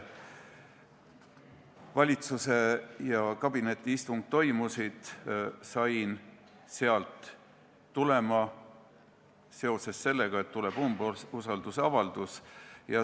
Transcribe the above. Valitsuse kabinetiistung toimus, sain sealt tulema seoses sellega, et tuleb umbusaldusavaldus.